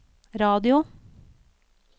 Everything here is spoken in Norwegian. radio